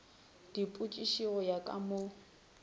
dipositi go ya ka mo